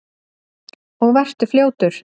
Og vertu fljótur.